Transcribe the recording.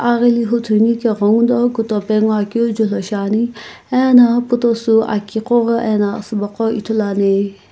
aghili huthu ani ke ghenguno kutope ngoakeu julhou shiani ena putosü aki qoghi ena asubo qoghi ithuluani.